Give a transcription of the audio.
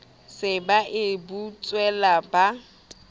se ba e butswela ba